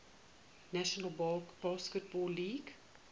national basketball league